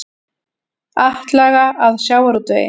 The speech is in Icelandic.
Atlaga að sjávarútvegi